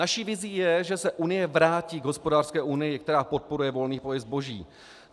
Naší vizí je, že se Unie vrátí k hospodářské unii, která podporuje volný pohyb zboží.